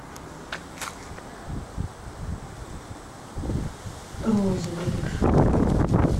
розыгрыш